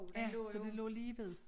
Ja så det lå lige ved